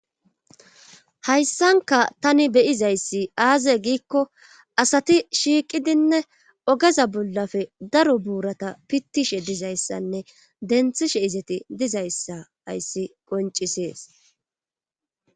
Hayssanka tani beyizayssi aaze giikko asati shiiqidinne ogeza bullafe daro buurata pittishe dizayssanne denthishe izeti dizayssa ayssi qoncisees